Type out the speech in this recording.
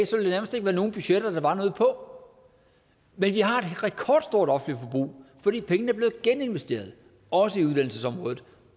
der nærmest ikke være nogen budgetter der var noget på men vi har et rekordstort offentligt forbrug fordi pengene er blevet geninvesteret også i uddannelsesområdet